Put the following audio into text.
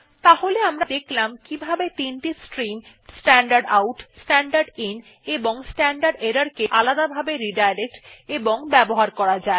তাহলে আমরা দেখলাম কিভাবে তিনটি stream standard out standard in ও স্ট্যান্ডার্ড এরর কে আলাদাভাবে রিডাইরেক্ট এবং ব্যবহার করা যায়